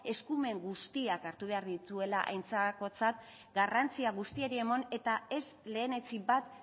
eskumen guztiak hartu behar dituela aintzakotzat garrantzia guztiei eman eta ez lehenetsi bat